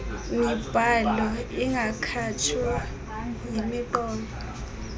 mibhalo ingakhatshwa yimiqolo